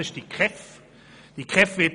Ich spreche von der KEV.